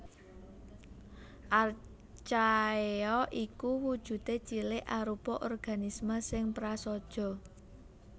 Archaea iku wujudé cilik arupa organisme sing prasaja